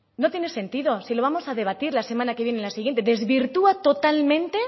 no tiene sentido si lo vamos a debatir la semana que viene en la siguiente desvirtúa totalmente